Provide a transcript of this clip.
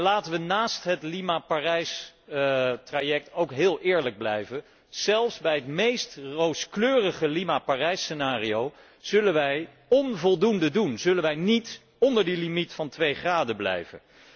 Laten wij naast het Lima Parijs traject ook heel eerlijk blijven zelfs bij het meest rooskleurig Lima Parijs scenario zullen wij onvoldoende doen en zullen wij niet onder die limiet van twee graden blijven.